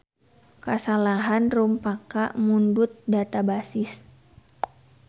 Kasalahan rumpaka mundut databasis.